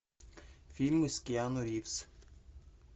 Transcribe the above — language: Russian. фильмы с киану ривз